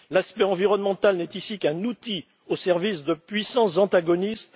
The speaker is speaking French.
L'aspect environnemental n'est ici qu'un outil au service de puissances antagonistes.